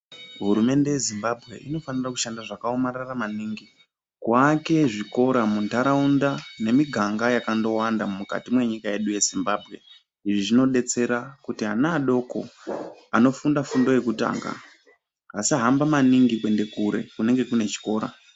Hurumende yeZimbabwe inofanira kuake zvikora muntaraunda nemiganga yakandowanda mukati mwenyika yedu yeZimbabwe. Izvi zvinodetsera kuti ana adoko anofunda fundo yekutanga asahamba maningi kuenda kure kunenge kune chikora.